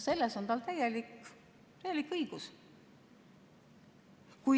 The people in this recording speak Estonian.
Selles on tal täielik õigus.